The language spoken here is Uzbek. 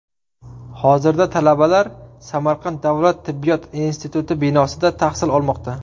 Hozirda talabalar Samarqand davlat tibbiyot instituti binosida tahsil olmoqda.